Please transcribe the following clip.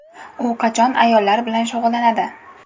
U qachon ayollar bilan shug‘ullanadi?